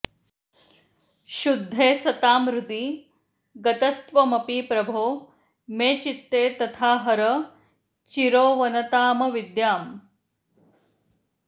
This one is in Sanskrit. शुद्धे सतां हृदि गतस्त्वमपि प्रभो मे चित्ते तथा हर चिरोवनतामविद्याम्